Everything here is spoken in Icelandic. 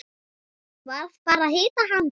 Varð bara að hitta hana.